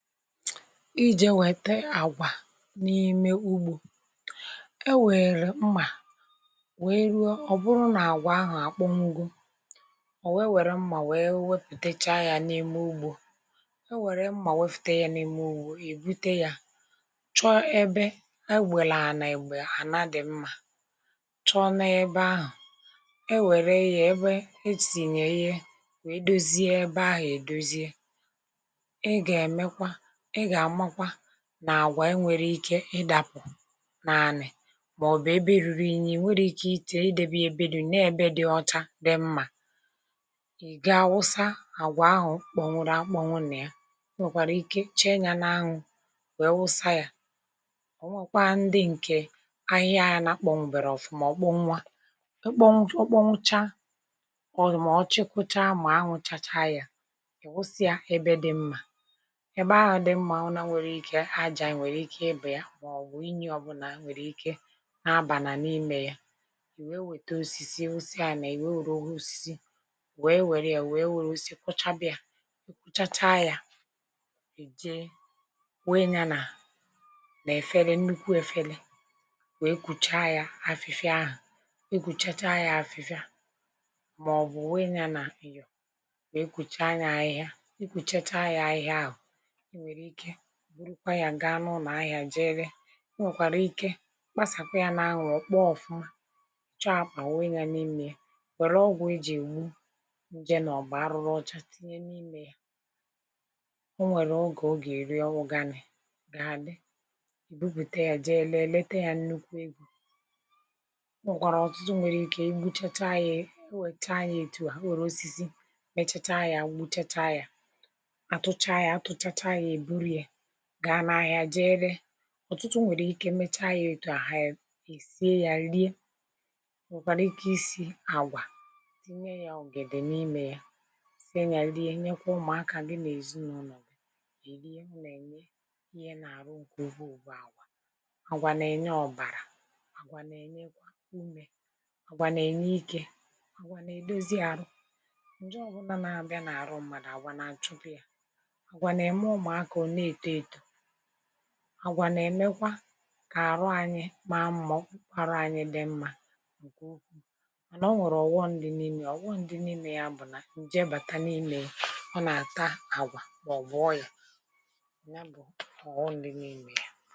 Ijè wete àgwà n’ime ugbȯ, e wère mmà, wee ruo, ọ bụrụ nà àgwà ahụ̀ àkpọwugo ọ̀ wee wère mmà wee wepụ̀tacha yȧ n’ime ugbȯ. Ewèrè mmà wepụta yȧ n’ime ugbȯ, èbute yȧ, chọ ebe e gwėlė ànà ègbè à na dị̀ mmȧ, chọọ na ebe ahụ̀, e wère ya ebe esì nyè ihe wee dozie ebe ahụ̀ èdozie. I ga emekwa, ì ga amakwa nà àgwà e nwere ike ịdȧpù n’anị màọ̀bụ̀ ebe ruru inyi nweghi ike idebe ya ebe rụrụ inyi nọ̀ọ n’ebe dị ọcha dị mmȧ. I gaa awụsa àgwà ahụ̀ kpọ̀nwụrụ akpọ̀nwụ nà ya e nwèkwàrà ike che nyȧ n’anwụ wẹe wụsa yȧ, ọ̀ nwẹ̀kwa ndị ǹkè ahịhịa yȧ na akpọ̀nwụ̀ bèrè ọ̀fụ̀ma ọkpọnwu a. Ukpọncha ụkpọncha mà ọ̀ chekacha ma anwụ chacha yȧ, e wusịa ẹbẹ dị mmȧ ẹbẹ ahụ dị mmà nwere ike aja nwere ike ịbè ya ma ọ̀bụ̀ inyi ọbụlà nwere ike na-abànà n’imė ya, i wèe wète osisi osisi à nà ì wee wėrė ya ò wee wėrė osisi kwọchabị ȧ, i kwụchacha yȧ, e jee wẹe yȧ nà nà-efela nnukwu efela wèe kùchaa ya afịfịa ahụ̀, e kùchacha yȧ afịfịa mà ọ̀bụ̀ wee yȧ nà nyò wèe kùchaa ya ahịhịa, i kwùchacha ya ahịhịa ahụ̀, ì nwèrè ike gaa n’unù ahịà jee ree. Ọ nwèkwàrà ike kpasàkwa yȧ n’anwụ ọkpọ ọ̀fụma, chọọ àkpà wụ̀ ya n’imė yà wère ọgwụ̀ ejì ègbu nje mà ọbụ arụrụ ọcha tinye n’imė yà. Ọ nwèrè ogè ọ gà-èru uganì ga-àdị, e bupùte yȧ jee lèe leete yȧ nnukwu egȯ o nwèkwàrà ọ̀tụtụ nwèrè ike egbuchata yȧ o nwèchata yȧ ètu à nwèrè osisi mechata yȧ egbuchata yȧ, atụcha ya, atụ chacha ya, ebụrụ ya ga n’ahịa jeere. Ọ̀tụtụ nwèrè ike mecha yȧ ètu a, ha èsie yȧ rie. Ọ nwẹ̀kwara ike isi agwà tinye yȧ ọ̀gèdè n’imė yȧ, sie yà rie, nyekwa ụmụ̀akà gị nà èzi n’ụlọ̀ gị e rie. M nà ènye ihe nà àrụ ǹkè ukwu bụ̀ àgwà. Agwà nà ènye ọ̀bàrà, àgwà nà ènyekwa umè, àgwà nà ènye ike, àgwà nà èdozi arụ. Nje ọ bụlà nà abịa n’àrụ mmàdụ̀, àgwà nà achụpuị a, agwà na-ème ụmụ̀akà ọ na eto eto, àgwà nà-èmekwa kà àrụ anyị màa mmà ka ọkpụkpụ arụ anyị dị mma nke ụkwụ. Mànà ọ nwèrè ọ̀ghọm dị n’imė ya, ọ̀ghọm dị n’imė ya bụ̀ nà ǹjė bàta n’imė ya, ọ nà-àta àgwà mà ọ̀bụ̀ ọrị̀ȧ, nyá bụ̀ ọ̀ghọm dị n’imė ya.